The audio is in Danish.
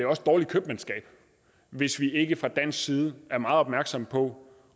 også dårligt købmandskab hvis vi ikke fra dansk side er meget opmærksomme på